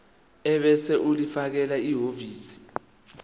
ebese ulifakela ehhovisi